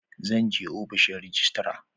Zan je ofishin rajistra.